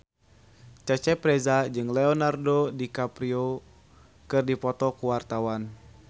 Cecep Reza jeung Leonardo DiCaprio keur dipoto ku wartawan